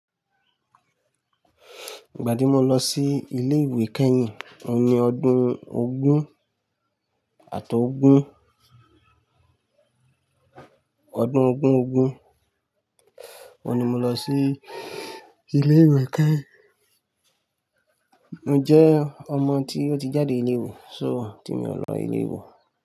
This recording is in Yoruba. Ìgbà tí mo lọ sí ilé ìwé kẹ́yìn ni ọdún ogún àtọ́ ogún, ọdún ogún ogún, ọ́hun ni mo lọ sí ilé ìwé kẹyìn. Mo jẹ́ ọmọ tí ó ti jáde ilé ìwé, so tí mi ò lọ ilé ìwé.